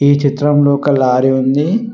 ఈ చిత్రంలో ఒక లారీ ఉంది.